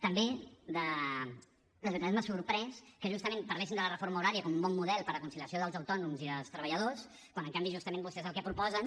també de ciutadans m’ha sorprès que justament parlessin de la reforma horària com a un bon model per a la conciliació dels autònoms i dels treballadors quan en canvi justament vostès el que proposen